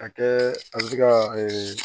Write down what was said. A kɛ an bɛ se ka